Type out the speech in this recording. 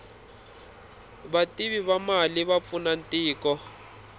vativi va mali va pfuna tiko